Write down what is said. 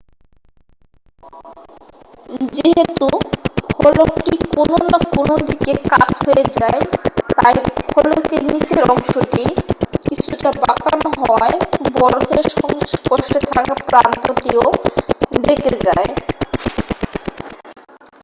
যেহেতু ফলকটি কোন না কোন দিকে কাত হয়ে যায় তাই ফলকের নীচের অংশটি কিছুটা বাঁকানো হওয়ায় বরফের সংস্পর্শে থাকা প্রান্তটিও বেঁকে যায়